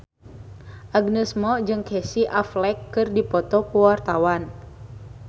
Agnes Mo jeung Casey Affleck keur dipoto ku wartawan